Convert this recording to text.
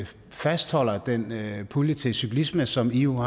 fastholde den pulje til cyklisme som i jo